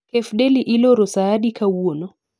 Cafe deli iloro saadi kawuono